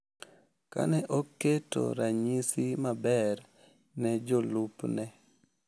Ka ne oketo ranyisi maber ne jolupne,